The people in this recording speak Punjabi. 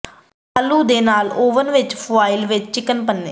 ਆਲੂ ਦੇ ਨਾਲ ਓਵਨ ਵਿੱਚ ਫੁਆਇਲ ਵਿੱਚ ਚਿਕਨ ਪੰਨੇ